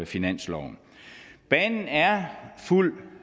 finansloven banen er fuldt